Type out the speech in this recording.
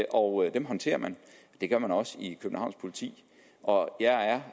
og dem håndterer man det gør man også i københavns politi og jeg er